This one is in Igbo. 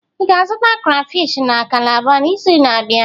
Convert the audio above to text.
Ị ga-azụta krayfish na kalabar n'izu na-abịa?